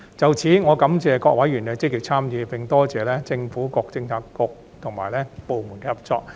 就此，我感謝各委員的積極參與，並多謝政府各政策局及部門的合作。